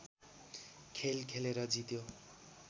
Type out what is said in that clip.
खेल खेलेर जित्यो